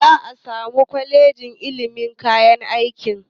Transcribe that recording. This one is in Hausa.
Za a samar wa kwalejoji ilimi kayan aiki.